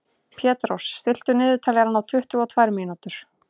Petrós, stilltu niðurteljara á tuttugu og tvær mínútur.